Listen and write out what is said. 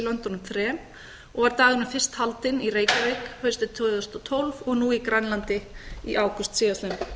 löndunum þremur og var dagurinn fyrst haldinn í reykjavík haustið tvö þúsund og tólf og nú í grænlandi í ágúst